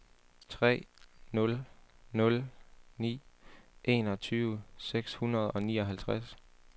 tre nul nul ni enogtyve seks hundrede og nioghalvtreds